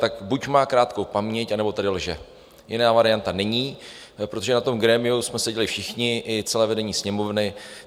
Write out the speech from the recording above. Tak buď má krátkou paměť, anebo tady lže, jiná varianta není, protože na tom grémiu jsme seděli všichni, i celé vedení Sněmovny.